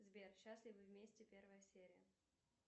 сбер счастливы вместе первая серия